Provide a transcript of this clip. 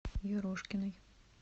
ерошкиной